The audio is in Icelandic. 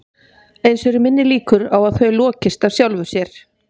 Eins eru minni líkur á að þau lokist af sjálfu sér.